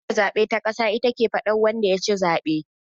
Hukumar zaben ta ƙasa ita ke faɗa wanda yaci zaben